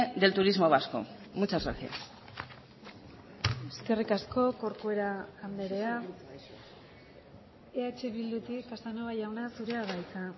del turismo vasco muchas gracias eskerrik asko corcuera andrea eh bildutik casanova jauna zurea da hitza